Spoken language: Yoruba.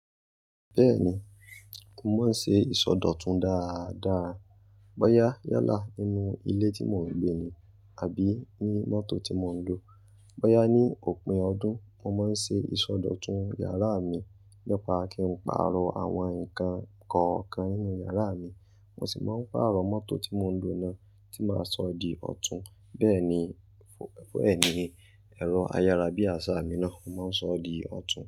Bẹ́ẹ̀ni, mo máa ń ṣe ìsọdọ̀tun dáadáa. Bọ́yá yálà nínú ilé tí mò ń gbé ni àbí ní mọ́tò tí mò ń lo. Bọ́yá ní òpin ọdún, mo má ń ṣe ìsọdọ̀tun iyàrá mi nípa kí n pààrọ̀ àwọn nǹkan kọ̀ọ̀kan nínú yàrá mi, mo sì máa ń pààrọ̀ mọ́tò tí mò ń lo náà tí máa sọ di ọ̀tún. Bẹ́ẹ̀ni ẹ̀rọ ayárabíàṣá mi náà, mo máa ń sọ di ọ̀tun.